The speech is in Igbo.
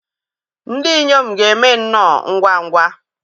ndị inyom ga-eme nnọọ ngwa ngwa